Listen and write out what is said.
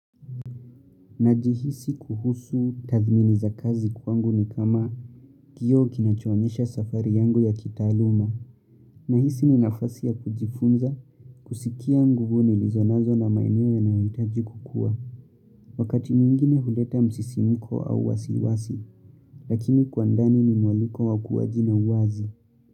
Najihisi kuhusu tathmini za kazi kuangu ni kama kioo kinachoonyesha safari yangu ya kitaaluma. Nahisi ni nafasi ya kujifunza kusikia nguvu nilizonazo na maeneo yanayo hitaji kukua. Wakati mwingine huleta msisimuko au wasiwasi. Lakini kuandani ni mwaliko wa kuwajina wazi.